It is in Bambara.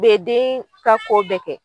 U be deen ka ko bɛɛ kɛ